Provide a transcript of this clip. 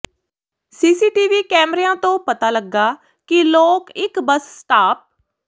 CCTV ਕੈਮਰਿਆਂ ਤੋਂ ਪਤਾ ਲੱਗਾ ਕਿ ਲੋਕ ਇਕ ਬੱਸ ਸਟਾਪ